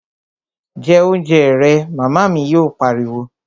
Jẹ oúnjẹ rẹ', Màmá mi yóò pariwo